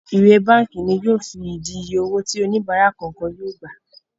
ìwé bánkì ní yóò fìdí ìyè owó tí oníbárà kọọkan yóò gbà.